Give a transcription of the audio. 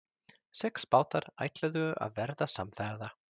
Sex bátar ætluðu að verða samferða.